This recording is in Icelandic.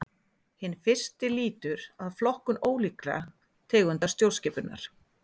Hinn fyrsti lýtur að flokkun ólíkra tegunda stjórnskipunar.